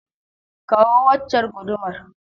Kawo waccar gudumar.